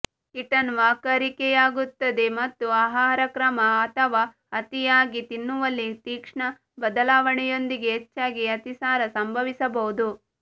kitten ವಾಕರಿಕೆಯಾಗುತ್ತದೆ ಮತ್ತು ಆಹಾರಕ್ರಮ ಅಥವಾ ಅತಿಯಾಗಿ ತಿನ್ನುವಲ್ಲಿ ತೀಕ್ಷ್ಣ ಬದಲಾವಣೆಯೊಂದಿಗೆ ಹೆಚ್ಚಾಗಿ ಅತಿಸಾರ ಸಂಭವಿಸಬಹುದು